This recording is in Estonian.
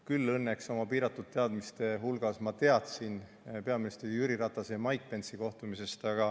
Küll õnneks oma piiratud teadmiste juures ma teadsin peaminister Jüri Ratase ja Mike Pence'i kohtumisest.